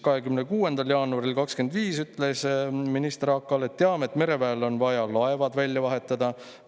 " 26. jaanuaril 2025 ütles minister AK-le: "Teame, et mereväel on vaja laevad välja vahetada.